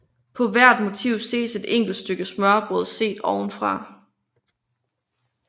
På hvert motiv ses et enkelt stykke smørrebrød set ovenfra